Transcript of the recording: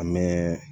An bɛ